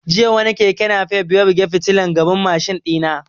Jiya wani keke nafef ya buge fitilan gaban mashin ɗina